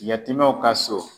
Yatimɛw ka so